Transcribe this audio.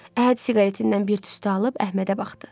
Əhəd siqaretindən bir tüstü alıb Əhmədə baxdı.